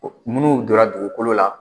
Minnu donna dugukolo la,